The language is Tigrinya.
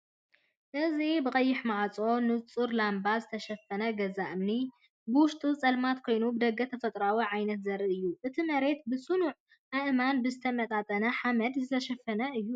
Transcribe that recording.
እዚ ብቀይሕ ማዕጾን ንጹር ላምባን ዝተሸፈነ ገዛ እምኒ፡ ብውሽጡ ጸልማት ኮይኑ፡ ብደገ ተፈጥሮኣዊ ዓይነት ዘርኢ እዩ። እቲ መሬት ብጽኑዕ ኣእማንን ብዝተመጣጠነ ሓመድን ዝተሸፈነ እዩ።